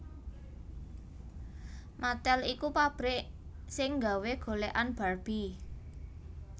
Mattel iku pabrik sing nggawe golekan Barbie